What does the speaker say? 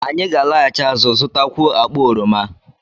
Anyị ga-alaghachi azụ, zụtakwuo akpa oroma